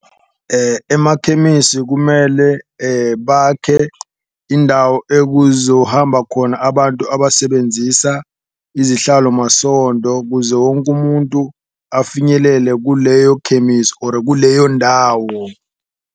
Emakhemisi kumele bakhe indawo ekuzohamba khona abantu abasebenzisa izihlalomasondo, kuze wonke umuntu afinyelele kuleyo khemisi or kuleyo ndawo.